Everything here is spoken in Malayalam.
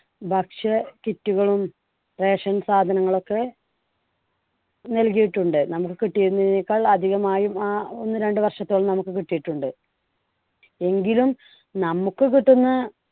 ഭക്ഷ്യ kit കളും ration സാധനങ്ങൾ ഒക്കെ നൽകിയിട്ടുണ്ട്. നമുക്ക് കിട്ടിയതിനേക്കാൾ അധികമായി ആ~ ഒന്ന് രണ്ടു വർഷത്തോളം നമുക്ക് കിട്ടിയിട്ടുണ്ട്. എങ്കിലും നമുക്ക് കിട്ടുന്ന